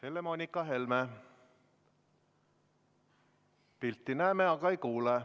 Helle-Moonika Helme, pilti näeme, aga ei kuule.